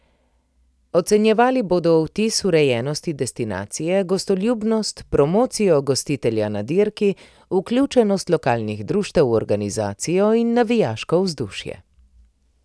Ocenjevali bodo vtis urejenosti destinacije, gostoljubnost, promocijo gostitelja na dirki, vključenost lokalnih društev v organizacijo in navijaško vzdušje.